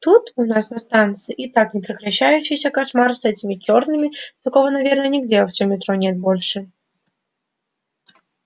тут у нас на станции и так непрекращающийся кошмар с этими чёрными такого наверное нигде во всём метро нет больше